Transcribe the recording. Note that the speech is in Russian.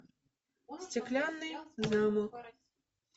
стеклянный замок